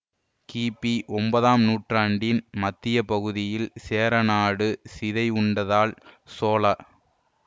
கிபி ஒன்பதாம் நூற்றாண்டின் மத்திய பகுதியில் சேரநாடு சிதைவுண்டதால் சோழ